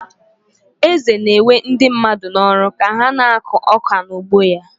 Eze na-ewe ndị mmadụ n'ọrụ ka ha na-akụ ọka n'ugbo ya.